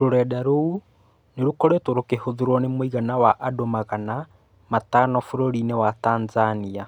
Rũrenda rũu nĩ rũkoretwo rũhũthĩrĩtwo nĩ mũigana wa andũmagana matano bũrũrinĩ waTanzania .